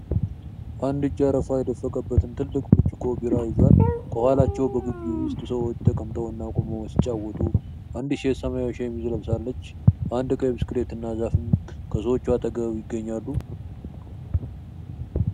አንድ እጅ አረፋ የደፈቀበትን ትልቅ ብርጭቆ ቢራ ይዟል፡፡ ከኋላቸው በግቢ ውስጥ ሰዎች ተቀምጠውና ቆመው ሲጨዋወቱ፤ አንዲት ሴት ሰማያዊ ሸሚዝ ለብሳለች፡፡ አንድ ቀይ ብስክሌትና ዛፍም ከሰዎቹ አጠገብ ይገኛሉ፡፡